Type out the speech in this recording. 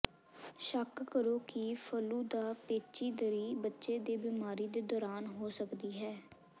ਸ਼ੱਕ ਕਰੋ ਕਿ ਫਲੂ ਦਾ ਪੇਚੀਦਗੀ ਬੱਚੇ ਦੇ ਬੀਮਾਰੀ ਦੇ ਦੌਰਾਨ ਹੋ ਸਕਦੀ ਹੈ